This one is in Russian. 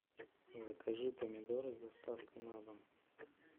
закажи помидоры с доставкой на дом